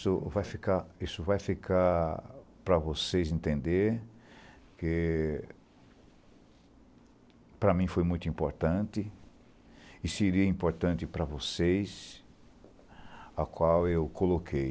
isso vai ficar isso vai ficar para vocês entenderem... que... para mim foi muito importante... e seria importante para vocês... a qual eu coloquei...